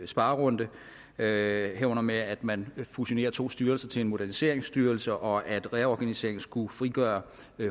sparerunde herunder med at man fusionerer to styrelser til moderniseringsstyrelsen og at reorganiseringen skulle frigøre